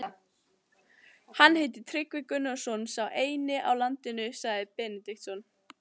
Hann heitir Tryggvi Gunnarsson, sá eini á landinu, sagði Benediktsson.